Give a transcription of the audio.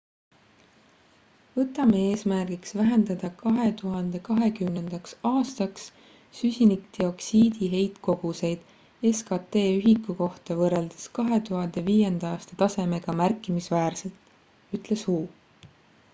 võtame eesmärgiks vähendada 2020 aastaks süsinikdioksiidi heitkoguseid skt ühiku kohta võrreldes 2005 aasta tasemega märkimisväärselt ütles hu